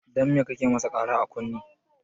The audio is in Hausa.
Dan me kake masa Kara a kunne?